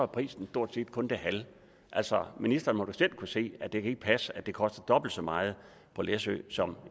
prisen stort set kun det halve altså ministeren må da selv kunne se at det ikke kan passe at det koster dobbelt så meget på læsø som